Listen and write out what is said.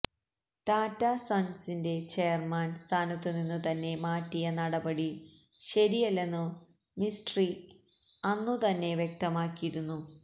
ടാറ്റ സണ്സിന്റെ ചെയര്മാന് സ്ഥാനത്തുനിന്നു തന്നെ മാറ്റിയ നടപടി ശരിയല്ലെന്നു മിസ്ട്രി അന്നുതന്നെ വ്യക്തമാക്കിയിരുന്നു